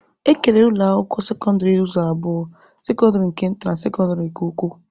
E kere ụlọ akwụkwọ sekọndịrị ụzọ abụọ, sekọndịrị nke nta na sekọndịrị nke ukwu